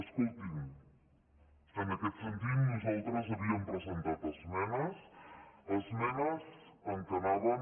escoltin en aquest sentit nosaltres havíem presentat esmenes esmenes que anaven